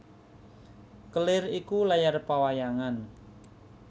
Kelir iku layar pawayangan